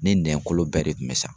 Ne nɛn kolo bɛɛ de tun bɛ sa.